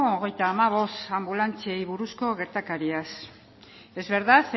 hogeita hamabost anbulantziei buruzko gertakariaz es verdad